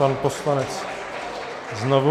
Pan poslanec znovu.